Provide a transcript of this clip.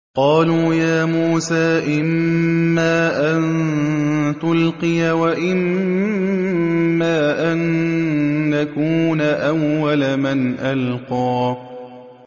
قَالُوا يَا مُوسَىٰ إِمَّا أَن تُلْقِيَ وَإِمَّا أَن نَّكُونَ أَوَّلَ مَنْ أَلْقَىٰ